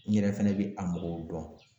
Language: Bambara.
N yɛrɛ fɛnɛ bɛ a mɔgɔw dɔn